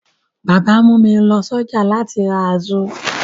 Bàbá mú mi lọ sí ọjà láti ra azu.